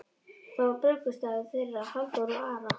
Það var brúðkaupsdagur þeirra Halldóru og Ara.